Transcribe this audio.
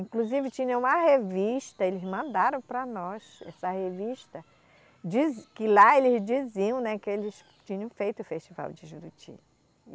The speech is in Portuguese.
Inclusive tinha uma revista, eles mandaram para nós, essa revista, diz, que lá eles diziam, né, que eles tinham feito o festival de Juruti.